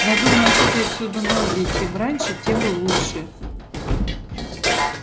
надо уносить отсюда ноги и чем раньше тем лучше